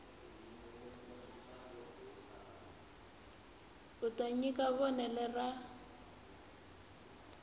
u ta nyika vonelo ra